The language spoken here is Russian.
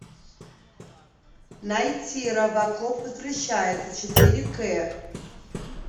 найти робокоп возвращается четыре к